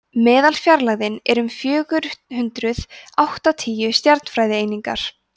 meðalfjarlægðin er um fjögur hundruð áttatíu stjarnfræðieiningar